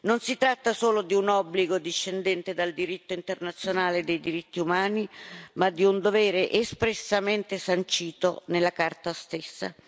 Non si tratta solo di un obbligo discendente dal diritto internazionale dei diritti umani, ma di un dovere espressamente sancito nella Carta stessa.